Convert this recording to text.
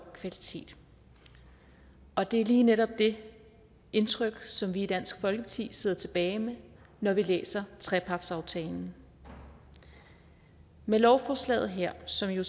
kvalitet og det er lige netop det indtryk som vi i dansk folkeparti sidder tilbage med når vi læser trepartsaftalen med lovforslaget her som jo